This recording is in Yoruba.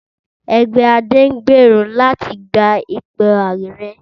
Ẹgbẹ́ Ade ń gbèrò láti gba ipò ààrẹ